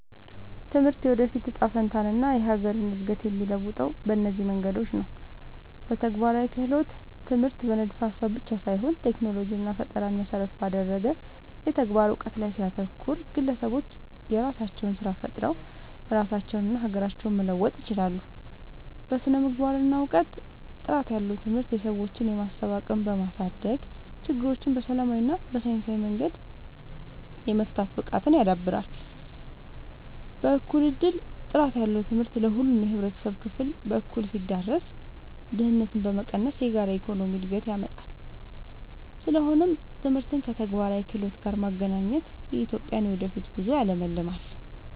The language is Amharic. ትምህርት የወደፊት እጣ ፈንታንና የሀገርን እድገት የሚለውጠው በእነዚህ መንገዶች ነው፦ በተግባራዊ ክህሎት፦ ትምህርት በንድፈ-ሀሳብ ብቻ ሳይሆን ቴክኖሎጂንና ፈጠራን መሰረት ባደረገ የተግባር እውቀት ላይ ሲያተኩር፣ ግለሰቦች የራሳቸውን ስራ ፈጥረው ራሳቸውንና ሀገራቸውን መለወጥ ይችላሉ። በስነ-ምግባርና እውቀት፦ ጥራት ያለው ትምህርት የሰዎችን የማሰብ አቅም በማሳደግ፣ ችግሮችን በሰላማዊና በሳይንሳዊ መንገድ የመፍታት ብቃትን ያዳብራል። በእኩል እድል፦ ጥራት ያለው ትምህርት ለሁሉም የህብረተሰብ ክፍል በእኩልነት ሲዳረስ፣ ድህነትን በመቀነስ የጋራ የኢኮኖሚ እድገትን ያመጣል። ስለሆነም ትምህርትን ከተግባራዊ ክህሎት ጋር ማገናኘት የኢትዮጵያን የወደፊት ጉዞ ያለምልማል።